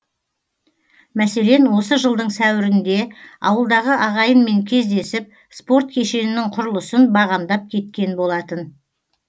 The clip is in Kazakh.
мәселен осы жылдың сәуірінде ауылдағы ағайынмен кездесіп спорт кешенінің құрылысын бағамдап кеткен болатын